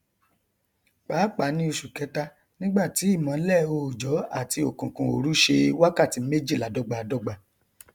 pàápàá ní oṣù kẹta nígbà tí ìmọlẹ òòjọ àti òkùnkùn òru ṣe wákàtí méjìlá dọgbadọgba